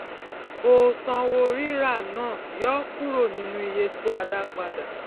o sanwó rírà náà yọ kúrò nínú iye tí a dá padà